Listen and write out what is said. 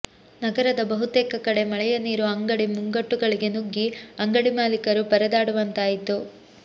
ನಗರದ ಬಹುತೇಕ ಕಡೆ ಮಳೆಯ ನೀರು ಅಂಗಡಿ ಮುಂಗಟ್ಟುಗಳಿಗೆ ನುಗ್ಗಿ ಅಂಗಡಿ ಮಾಲೀಕರು ಪರದಾಡುವಂತಾಯಿತು